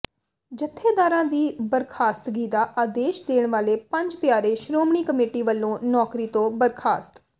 ਜਥੇਦਾਰਾਂ ਦੀ ਬਰਖਾਸਤਗੀ ਦਾ ਆਦੇਸ਼ ਦੇਣ ਵਾਲੇ ਪੰਜ ਪਿਆਰੇ ਸ਼੍ਰੋਮਣੀ ਕਮੇਟੀ ਵਲੋਂ ਨੌਕਰੀ ਤੋਂ ਬਰਖਾਸਤ